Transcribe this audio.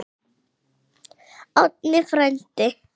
Árni frændi!